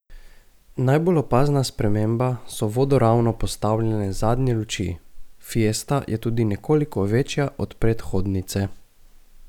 Najbolj opazna sprememba so vodoravno postavljene zadnje luči, fiesta je tudi nekoliko večja od predhodnice.